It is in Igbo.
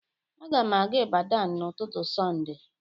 Agam aga Ibadan n'ututu sonde.